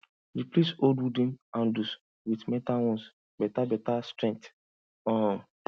replace old wooden handles with metal ones better better strength um